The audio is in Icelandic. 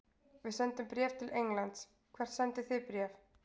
Við sendum bréf til Englands. Hvert sendið þið bréf?